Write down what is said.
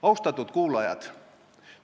Austatud kuulajad!